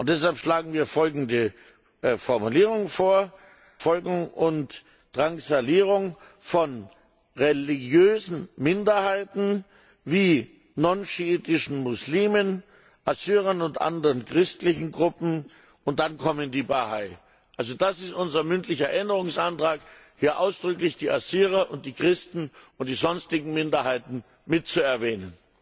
Deshalb schlagen wir folgende Formulierung vor Verfolgung und Drangsalierung von religiösen Minderheiten wie nichtschiitischen Muslimen, Assyrern und anderen christlichen Gruppen, und dann kommen die Bahai. Das ist unser mündlicher Änderungsantrag, hier ausdrücklich die Assyrer und die Christen und die sonstigen Minderheiten mit zu erwähnen.